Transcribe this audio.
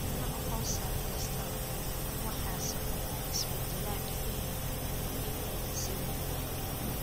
Nooc-hoosaad kasta waxa sababa isbeddel ku yimaadda hidde-side kale.